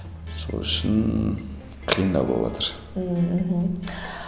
сол үшін қиындау боватыр мхм